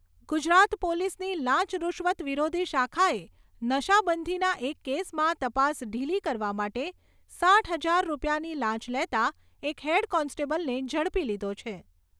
ગુજરાત પોલીસની લાંચ રૂશ્વત વિરોધી શાખાએ નશાબંધીના એક કેસમાં તપાસ ઢીલી કરવા માટે સાઠ હજાર રૂપિયાની લાંચ લેતા એક હેડ કોન્સ્ટેબલને ઝડપી લીધો છે.